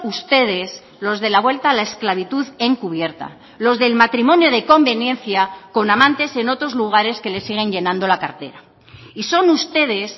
ustedes los de la vuelta a la esclavitud encubierta los del matrimonio de conveniencia con amantes en otros lugares que les siguen llenando la cartera y son ustedes